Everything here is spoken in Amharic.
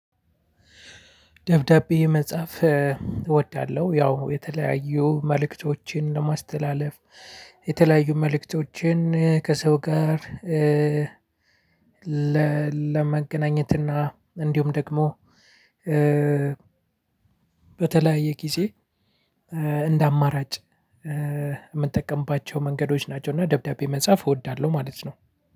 ደብዳቤ መጻፍ እወዳለሁ ያው የተለያዩ መልእክቶችን ለማስተላለፍ የተለያዩ መልእክቶችን ከሰው ጋር። ለመገናኘት እና እንዲሁም ደግሞ በተለያየ ጊዜ እንደ አማራጭ የምጠቀምባቸው መንገዶች ናቸው። እና ደብዳቤ መጻፍ እወዳለሁ ማለት ነው።